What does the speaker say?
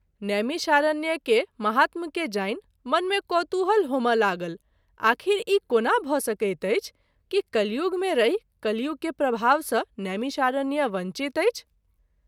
नैमिषारण्य के महात्म के जानि मन मे कौतुहल होमय लागल आखिर ई कोना भ’ सकैत अछि कि कलियुग मे रहि कलियुग के प्रभाव सँ नैमिषारण्य वंचित अछि।